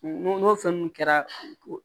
N'o fɛn ninnu kɛra